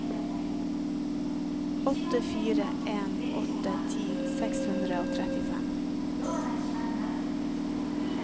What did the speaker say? åtte fire en åtte ti seks hundre og trettifem